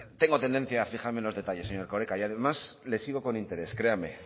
tengo tendencia a fijarme en los detalles señor erkoreka y además le sigo con interés créame